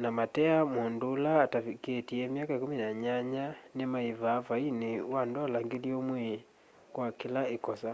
na mateea mũndũ atavikitye myaka 18 ni maivaa vaini wa ndola 1000 kwa kila ikosa